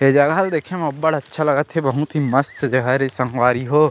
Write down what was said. ये जगह ल देखे म अब्बड़ अच्छा लगत हे बहुत ही मस्त जगह रे संगवारी हो--